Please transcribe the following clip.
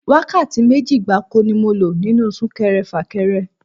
Wákàtí méjì gbáko ni mo lò nínú Sún-kẹrẹ-fà-kẹrẹ